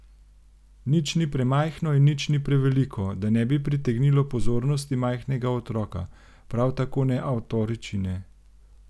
Nič ni premajhno in nič preveliko, da ne bi pritegnilo pozornosti majhnega otroka, prav tako ne avtoričine.